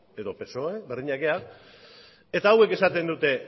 edo psoe berdinak gara eta hauek esaten dute